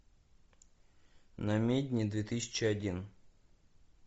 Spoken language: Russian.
намедни две тысячи один